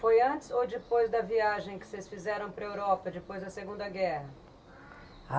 Foi antes ou depois da viagem que vocês fizeram para a Europa, depois da Segunda Guerra?